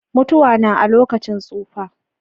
Mutuwa na a lokacin tsufa.